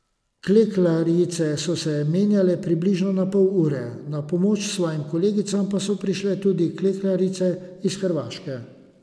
Klekljarice so se menjale približno na pol ure, na pomoč svojim kolegicam pa so prišle tudi klekljarice iz Hrvaške.